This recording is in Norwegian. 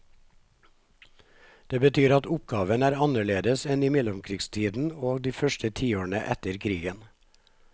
Det betyr at oppgaven er annerledes enn i mellomkrigstiden og de første tiårene etter krigen.